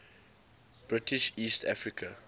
british east africa